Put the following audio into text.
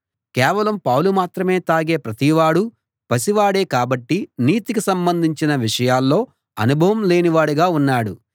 కేవలం పాలు మాత్రమే తాగే ప్రతివాడూ పసివాడే కాబట్టి నీతికి సంబంధించిన విషయాల్లో అనుభవం లేని వాడుగా ఉన్నాడు